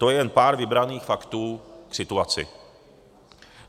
To je jen pár vybraných faktů k situaci.